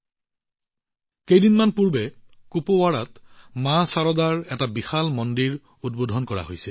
কিছুদিন আগতে কুপৱাৰাত মা শাৰদাৰ মহামন্দিৰ উদ্বোধন কৰা হৈছিল